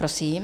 Prosím.